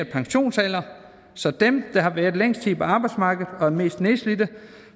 pensionsalder så dem der har været længst tid på arbejdsmarkedet og er mest nedslidte